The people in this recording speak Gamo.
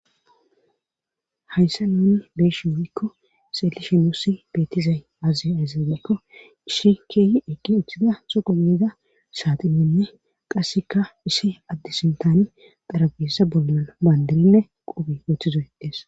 hayssa nuni beeshi woyko kko seelishe nussi beettizay aaziy ayzaz mekko ishi keeyi eqqi uthida suqu miida saatiminne qasseka ishe addi sintani xarabessa bolna maandirinne qubi uththizoydees